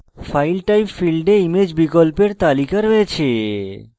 file type ফীল্ডে image বিকল্পের তালিকা রয়েছে